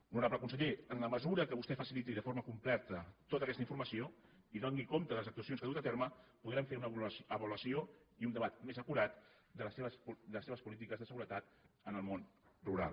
honorable conseller en la mesura que vostè faciliti de forma completa tota aquesta informació i doni compte de les actuacions que ha dut a terme podrem fer una avaluació i un debat més acurat de les seves polítiques de seguretat en el món rural